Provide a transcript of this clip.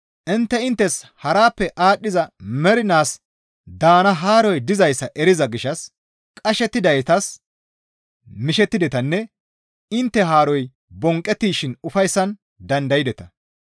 Intte inttes harappe aadhdhiza mernaas daana haaroy dizayssa eriza gishshas qashettidaytas mishettidetanne intte haaroy bonqqettishin ufayssan dandaydeta.